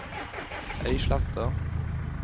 Øysletta